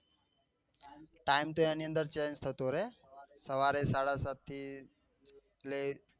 એમ time તો એની અંદર change થતો રહે સવારે સાડા સાત થી